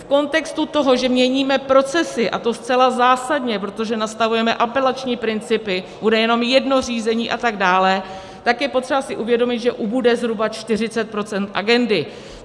V kontextu toho, že měníme procesy - a to zcela zásadně, protože nastavujeme apelační principy, bude jenom jedno řízení, a tak dále - tak je třeba si uvědomit, že ubude zhruba 40 % agendy.